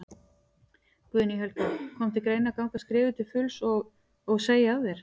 Guðný Helga: Kom til greina að ganga skrefið til fulls og, og segja af þér?